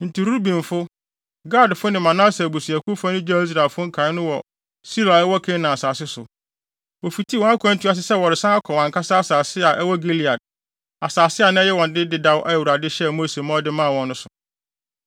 Enti Rubenfo, Gadfo ne Manase abusuakuw fa no gyaw Israelfo nkae no hɔ wɔ Silo a ɛwɔ Kanaan asase so. Wofitii wɔn akwantu ase sɛ wɔresan akɔ wɔn ankasa asase a ɛwɔ Gilead, asase a na ɛyɛ wɔn dea dedaw a Awurade hyɛɛ Mose ma ɔde maa wɔn no so.